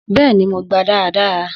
Bẹ́ẹ̀ni, mo gba dáradára